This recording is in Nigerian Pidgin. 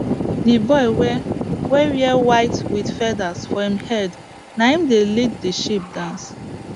the boy wey wey wear white with feathers for him head naim dey lead the sheep dance